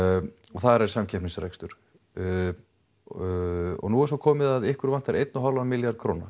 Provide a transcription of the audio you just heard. og þar er samkeppnisrekstur og nú er svo komið að ykkur vantar einn og hálfan milljarð króna